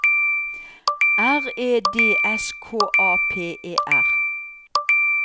R E D S K A P E R